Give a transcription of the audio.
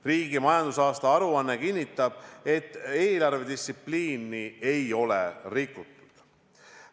Riigi majandusaasta aruanne kinnitab, et eelarvedistsipliini ei ole rikutud.